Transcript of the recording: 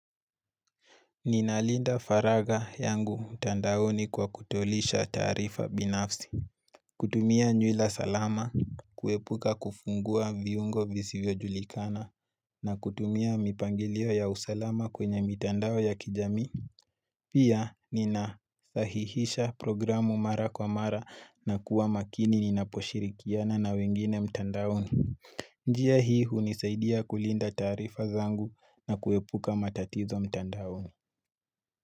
Nina linda faragha yangu mtandaoni kwa kutolisha taarifa binafsi. Kutumia nywila salama, kuepuka kufungua viungo visivyojulikana, na kutumia mipangilio ya usalama kwenye mitandao ya kijamii. Pia ninasahihisha programu mara kwa mara na kuwa makini ninaposhirikiana na wengine mtandaoni. Njia hii hunisaidia kulinda taarifa zangu na kuepuka matatizo mtandaoni.